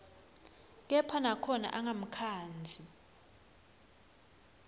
kepha nakhona angamkhandzi